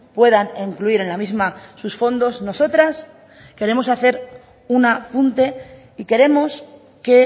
puedan incluir en la misma sus fondos nosotras queremos hacer un apunte y queremos que